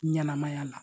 Ɲɛnɛmaya la